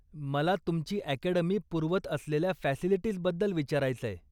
मला तुमची अकॅडमी पुरवत असलेल्या फॅसिलिटीजबद्दल विचारायचंय.